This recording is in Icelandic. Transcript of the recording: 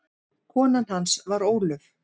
Kona hans var Ólöf